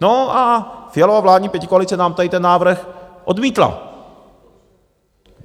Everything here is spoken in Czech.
No a Fialova vládní pětikoalice nám tady ten návrh odmítla.